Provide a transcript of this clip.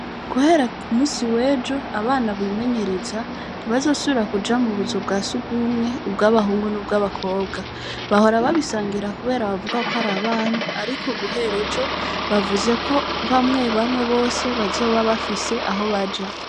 Guhera ku munsi w’ejo, abana bimenyereza, ntibazosubira kuja mu buzu bwa surwumwe, ubw’abahungu n’ubw’abakobwa; bahora babisangira kubera bavuga ko ari abana, ariko guhera ejo, bavuze ko bamwe bamwe bose, bazoba bafise aho baja.